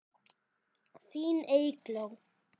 Þín Eygló.